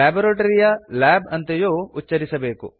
laboratory ಯ lab ಅಂತೆಯೂ ಉಚ್ಛರಿಸಬೇಕು